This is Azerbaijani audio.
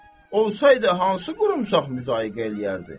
Olsaydı hansı qurumsaq müzayiqə eləyərdi?